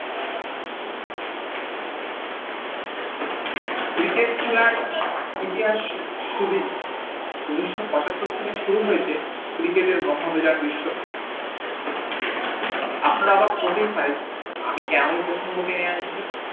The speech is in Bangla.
cricket খেলার ইতিহাস সুদৃঢ় উনিশ পচাত্তর থেকে শুরু হয়েছে cricket এর মহায়মেলার বিস্বকাপ আপনারা অবাক হতেই পারেন আমি কেন এই প্রসঙ্গ টেনে আনছি